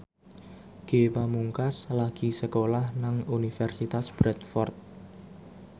Ge Pamungkas lagi sekolah nang Universitas Bradford